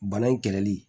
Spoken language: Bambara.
Bana in kɛlɛli